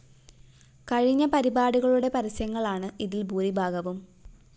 കഴിഞ്ഞ പരിപാടികളുടെ പരസ്യങ്ങളാണ് ഇതില്‍ ഭൂരിഭാഗവും